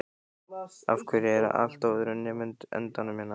Af hverju er allt á öðrum endanum hérna?